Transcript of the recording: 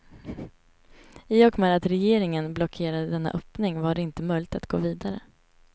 I och med att regeringen blockerade denna öppning var det inte möjligt att gå vidare.